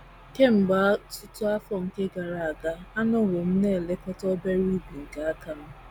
Kemgbe ọtụtụ afọ gara aga, anọwo m na - elekọta obere ubi nke aka m.